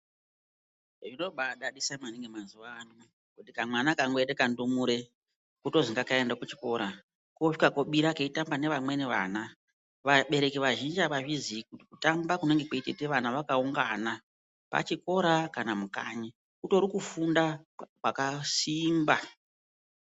Zvinobaadadisa maningi mazuva ano kuti kamwana kangoite kandumure kotozi ngakaende kuchikora koosvika kobira keitamba nevamweni vana. Vabereki vazhinji havazvizii kuti kutamba kunenge kweitoite vana vakaungana pachikora kana mukanyi, kutori kufunda kwakasimba.